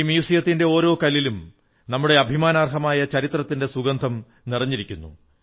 ഈ മ്യൂസിയത്തിന്റെ ഓരോ കല്ലിലും നമ്മുടെ അഭിമാനാർഹമായ ചരിത്രത്തിന്റെ സുഗന്ധം നിറഞ്ഞിരിക്കുന്നു